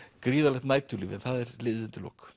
gríðarlegt næturlíf en það er liðið undir lok